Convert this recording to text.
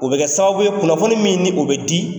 O bɛ kɛ sababu ye kunnafoni min ni o bɛ di